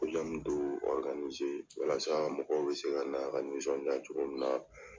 dɔ walasa mɔgɔw bɛ se ka na ka ka nisɔndiya cogo min na